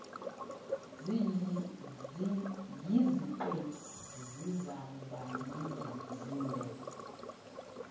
yiziqephu zizawuba zinde